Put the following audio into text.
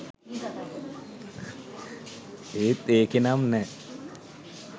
ඒත් එකේනම් නෑ.